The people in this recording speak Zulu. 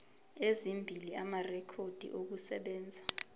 ezimbili amarekhodi okusebenza